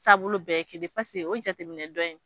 Taabolo bɛɛ ye kelen paseke o jateminɛ dɔn in